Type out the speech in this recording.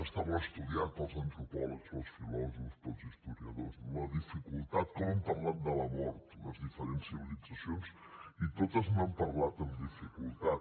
està molt estudiat pels antropòlegs pels filòsofs pels historiadors la dificultat com han parlat de la mort les diferents civilitzacions i totes n’han parlat amb dificultat